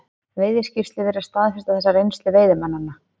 Veiðiskýrslur virðast staðfesta þessa reynslu veiðimannanna.